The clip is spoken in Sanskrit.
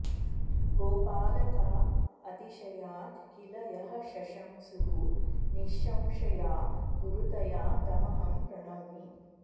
गोपालका अतिशयात् किल यः शशंसुः निःशंशया गुरुतया तमहं प्रणौमि